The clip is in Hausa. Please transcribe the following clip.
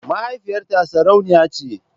Mahaifiyarta sarauniya ce.